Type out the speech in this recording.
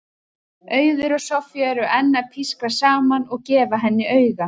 Auður og Soffía eru enn að pískra saman og gefa henni auga.